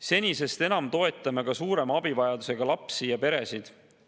Senisest enam toetame ka suurema abivajadusega lapsi ja peresid.